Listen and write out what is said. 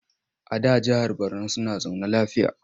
A da jahar Borno suna zaune lafiya.